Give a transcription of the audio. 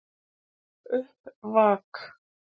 Upp vak!